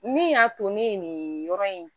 Min y'a to ne ye nin yɔrɔ in